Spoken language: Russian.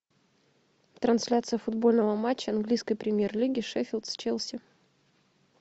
трансляция футбольного матча английской премьер лиги шеффилд с челси